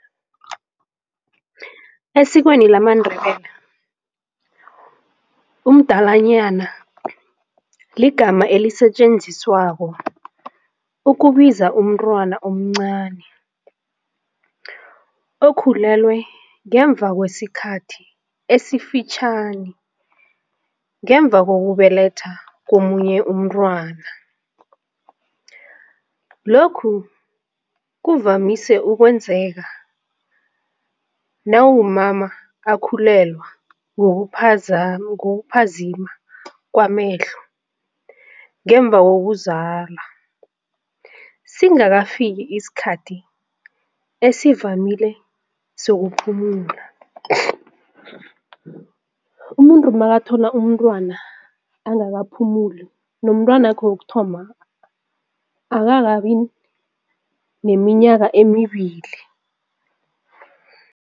Esikweni lamaNdebele umdalanyana ligama elisetjenziswako ukubiza umntwana omncani okhulelwe ngemva kwesikhathi esifitjhani ngemva kokubeletha komunye umntwana, lokhu kuvamise ukwenzeka nawumama akhulelwa ngokuphazima kwamehlo ngemva wokuzalwa singakafiki isikhathi esivamile sokuphumula. Umuntu makathola umntwana angakaphumuli nomntwanakhe wokuthoma akakabi neminyaka emibili.